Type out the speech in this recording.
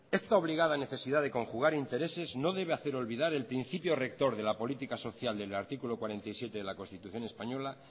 esta obligada necesidad de conjugar intereses no debe hacer obligar el principio rector de la política social del artículo cuarenta y siete de la constitución española